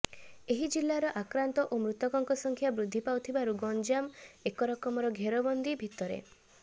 ଏହି ଜିଲ୍ଲାରେ ଆକ୍ରାନ୍ତ ଓ ମୃତକଙ୍କ ସଂଖ୍ୟା ବୃଦ୍ଧି ପାଉଥିବାରୁ ଗଞ୍ଜାମ ଏକରକମ ଘେରବନ୍ଦୀ ଭିତରେ